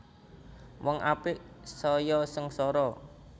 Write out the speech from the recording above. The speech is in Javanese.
Wong apik saya sengsara